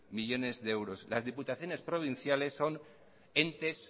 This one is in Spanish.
millónes de euros las diputaciones provinciales son entes